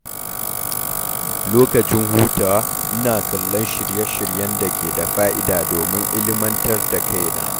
Lokacin hutawa, ina kallon shirye-shiryen da ke da fa’ida domin ilmantar da kaina.